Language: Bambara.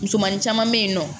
Musomanin caman be yen nɔ